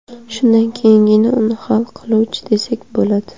Shundan keyingina uni hal qiluvchi desak bo‘ladi.